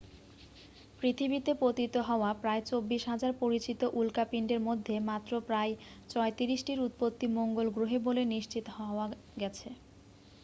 পৃথিবীতে পতিত হওয়া প্রায় 24,000 পরিচিত উল্কাপিণ্ডের মধ্যে মাত্র প্রায় 34 টির উৎপত্তি মঙ্গল গ্রহে বলে নিশ্চিত হওয়া গেছে